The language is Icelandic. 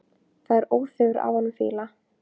Það er óþefur af honum fýla!